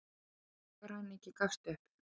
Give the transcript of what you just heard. Bankaræningi gafst upp